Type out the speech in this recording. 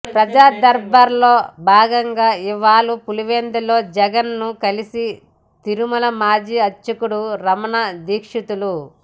ప్రజా దర్బార్ లో భాగంగా ఇవాళ పులివెందులలో జగన్ ను కలిసి తిరుమల మాజీ అర్చకుడు రమణ దీక్షితులు